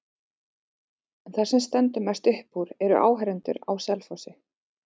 En það sem stendur mest upp úr eru áhorfendurnir á Selfossi.